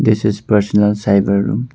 This is a personal cyber room.